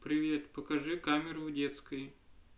привет покажи камеру в детской